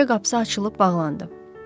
Küçə qapısı açılıb bağlandı.